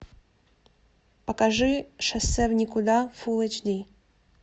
покажи шоссе в никуда фул эйчди